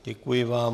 Děkuji vám.